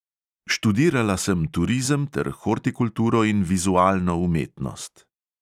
Študirala sem turizem ter hortikulturo in vizualno umetnost.